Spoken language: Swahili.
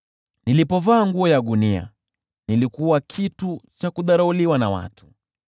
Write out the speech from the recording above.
Ninapovaa nguo ya gunia, watu hunidharau.